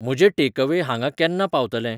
म्हजें टेकअवेय हांगां केन्ना पावतलें ?